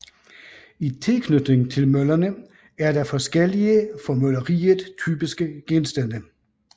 I tilknytning til møllerne er der forskellige for mølleriet typiske genstande